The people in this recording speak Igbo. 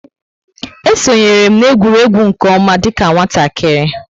E sonyeere m na egwuregwu nke oma dika nwatakịrị